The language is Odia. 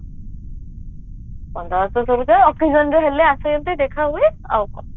ବନ୍ଧୁବାସ ସବୁ ତ occasion ରେ ହେଲେ ଆସନ୍ତି ଦେଖା ହୁଏ ଆଉ କଣ